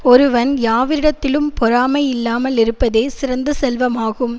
ஒருவன் யாவரிடத்திலும் பொறாமை இல்லாமல் இருப்பதே சிறந்த செல்வமாகும்